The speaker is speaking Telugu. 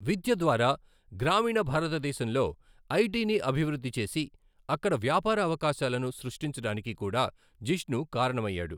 విద్య ద్వారా గ్రామీణ భారతదేశంలో ఐటిని అభివృద్ధి చేసి, అక్కడ వ్యాపార అవకాశాలను సృష్టించడానికి కూడా జిష్ణు కారణమయ్యాడు.